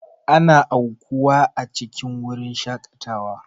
Ana aukuwa a cikin wurin shakatawa.